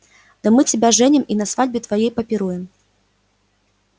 да мы тебя женим и на свадьбе твоей попируем